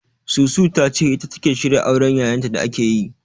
Susu ta ce ita take shirya auren Yayanta da ake yi..